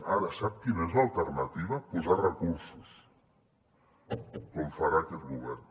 ara sap quina és l’alternativa posar recursos com farà aquest govern